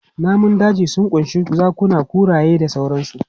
Namun daji sun ƙunshi zakuna, kuraye da sauransu.